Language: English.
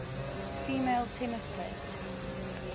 female tennis players